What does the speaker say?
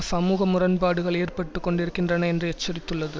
சமூக முரண்பாடுகள் ஏற்பட்டு கொண்டிருக்கின்றன என்று எச்சரித்துள்ளது